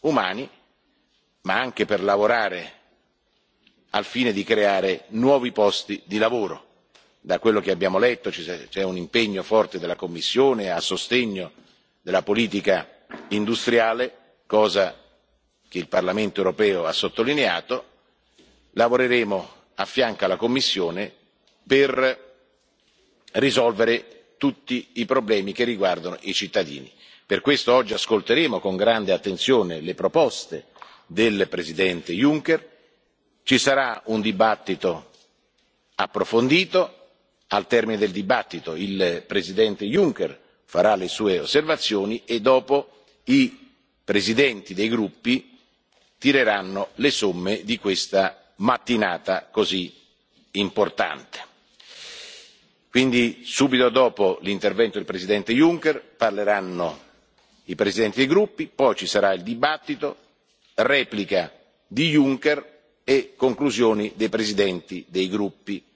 umani, ma anche per lavorare alla creazione di nuovi posti di lavoro. Da quello che abbiamo letto, c'è un impegno forte della Commissione a sostegno della politica industriale, cosa che il Parlamento europeo ha sottolineato. Lavoreremo a fianco della Commissione per risolvere tutti i problemi che riguardano i cittadini. Per questo oggi ascolteremo con grande attenzione le proposte del Presidente Juncker ci sarà un dibattito approfondito, al termine del quale il Presidente Juncker formulerà le proprie osservazioni e, successivamente, i presidenti dei gruppi tireranno le somme di questa mattinata così importante. Quindi, subito dopo l'intervento del Presidente Juncker, interverranno i presidenti dei gruppi, cui faranno seguito il dibattito, la replica del Presidente Juncker e le conclusioni dei presidenti dei gruppi.